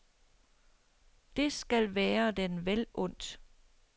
Det skal være den vel undt.